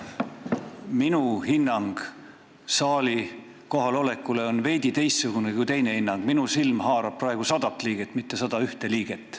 Minu hinnang kohalolekule on veidi teistsugune kui teie hinnang, minu silm haarab praegu 100 liiget, mitte 101 liiget.